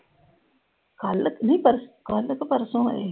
ਕੱਲ ਨਹੀਂ ਪਰਸੋਂ ਅਹ ਕੱਲ ਕਿ ਪਰਸੋਂ ਆਏ ਸੀ।